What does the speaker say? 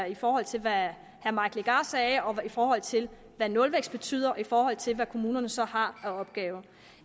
i forhold til hvad herre mike legarth sagde i forhold til hvad nulvækst betyder og i forhold til hvad kommunerne så har af opgaver